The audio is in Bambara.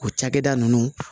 O cakɛda ninnu